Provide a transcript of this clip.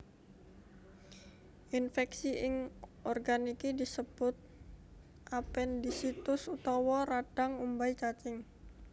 Infèksi ing organ iki disebut apendisitis utawa radhang umbai cacing